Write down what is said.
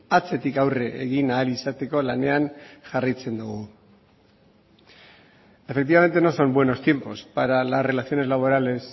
atzetik aurre egin ahal izateko lanean jarraitzen dugu efectivamente no son buenos tiempos para las relaciones laborales